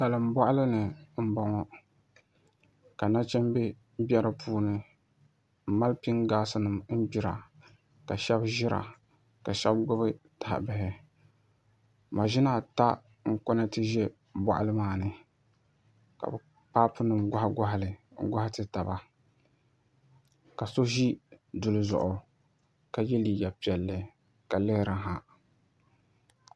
Salin boɣali ni n boŋo ka nachimbi bɛ di puuni n mali pik ax nim gbira ka shab ʒira ka shab gbubi taha bihi maʒina ata n konɛti bɛ boɣali maa ni ka paapu ni goɣa goɣa li n goɣa ti taba ka so ʒi duli zuɣu ka yɛ liiga piɛlli ka lihiri ha